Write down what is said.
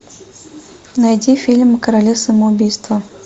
найди фильм короли самоубийства